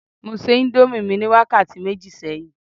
mo se indomie mi ni wakati meji sẹyìn